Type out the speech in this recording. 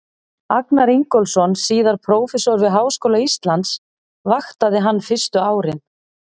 Agnar Ingólfsson, síðar prófessor við Háskóla Íslands, vaktaði hann fyrstu árin.